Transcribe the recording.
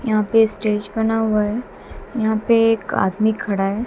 यहां पे स्टेज बना हुआ है। यहां पर एक आदमी खड़ा है।